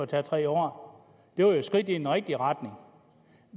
tager tre år det var jo et skridt i den rigtige retning